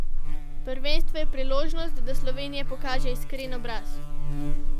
Prvenstvo je priložnost, da Slovenija pokaže iskren obraz.